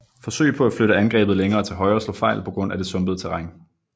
Forsøg på at flytte angrebet længere til højre slog fejl på grund af det sumpede terræn